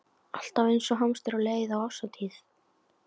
Alltaf eins og hamstur á leið á árshátíð.